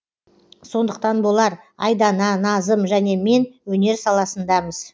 сондықтан болар айдана назым және мен өнер саласындамыз